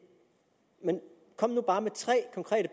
men kom nu bare med tre konkrete